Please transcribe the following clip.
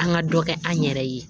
An ka dɔ kɛ an yɛrɛ ye